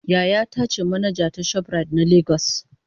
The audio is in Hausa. yayata ce manaja ta shoprite na Lagos.